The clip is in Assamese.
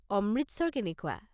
অমৃতসৰ কেনেকুৱা?